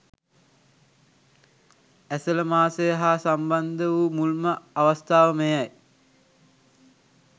ඇසළ මාසය හා සම්බන්ධ වූ මුල්ම අවස්ථාව මෙයයි.